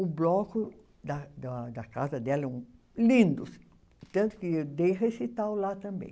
O bloco da da da casa dela eram lindos, tanto que eu dei recital lá também.